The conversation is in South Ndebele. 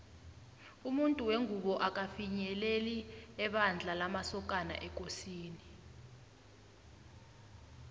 umuntu wengubo akafinyeleli ebandla lamasokana ekosini